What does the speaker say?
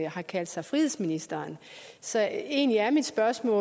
har kaldt sig frihedsministeren så egentlig er mit spørgsmål